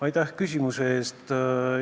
Aitäh küsimuse eest!